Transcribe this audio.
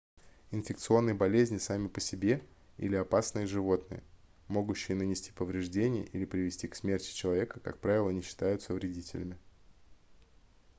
инфекционные болезни сами по себе или опасные животные могущие нанести повреждения или привести к смерти человека как правило не считаются вредителями